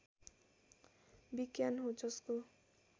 विज्ञान हो जसको